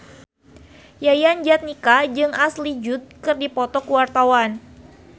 Yayan Jatnika jeung Ashley Judd keur dipoto ku wartawan